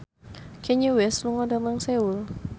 Kanye West lunga dhateng Seoul